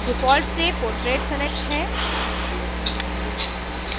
default से portrait selected है